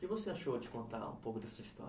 O que você achou de contar um pouco da sua história?